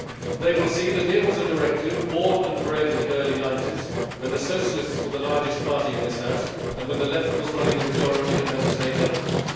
They will see that here was a directive born and bred in the early 1990s when the Socialists were the largest party in this House and when the Left was running the majority of Member State governments